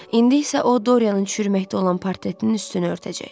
İndi isə o Dorianın çürüməkdə olan portretinin üstünü örtəcək.